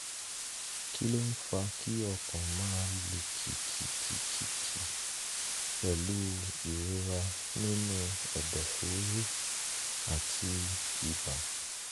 kí ló ń fa kí ọkàn máa lù kìkì-kì-kì-kì pẹ̀lú ìrora nínú ẹ̀dọ̀fóró àti ibà?